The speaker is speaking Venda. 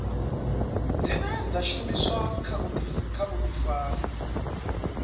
dzine dza shumiswa kha vhuḓifari